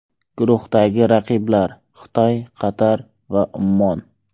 Guruhdagi raqiblar: Xitoy, Qatar va Ummon.